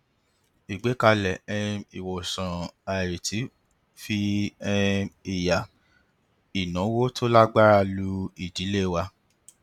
ìgbékalẹ um ìwòsàn àìrètí fi um ìyà ináwó tó lágbára lù idílé wa